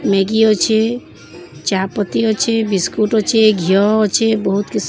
Maggi ଅଛେ। ‌ ଚାପତି ଅଛେ। ବିସ୍କୁଟ ଅଛେ। ଘିଅ ଅଛେ। ବହୁତ୍ କିସ୍ --